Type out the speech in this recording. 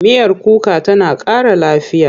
Miyar kuka tana ƙara lafiya.